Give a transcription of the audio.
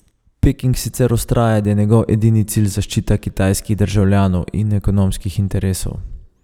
Peking sicer vztraja, da je njegov edini cilj zaščita kitajskih državljanov in ekonomskih interesov.